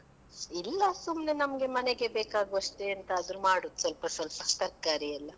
ಇಲ್ಲಾ ಸುಮ್ನೆ ನಮ್ಗೆ ಮನೆಗೆ ಬೇಕಾಗುವಷ್ಟೇ ಎಂತಾದ್ರೂ ಮಾಡುದು ಸ್ವಲ್ಪ ಸ್ವಲ್ಪ ತರಕಾರಿ ಎಲ್ಲಾ.